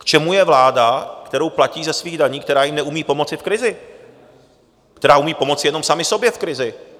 K čemu je vláda, kterou platí ze svých daní, která jim neumí pomoci v krizi, která umí pomoci jenom sama sobě v krizi?